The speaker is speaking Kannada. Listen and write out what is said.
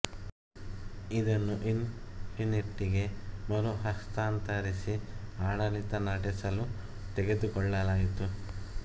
ಇದನ್ನು ಇನ್ ಫಿನಿಟಿ ಗೆ ಮರು ಹಸ್ತಾಂತರಿಸಿ ಆಡಳಿತ ನಡೆಸಲು ತೆಗೆದುಕೊಳ್ಳಲಾಯಿತು